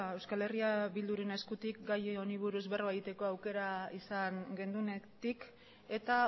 eh bilduren eskutik gai honi buruz berba egiteko aukera izan genuenetik eta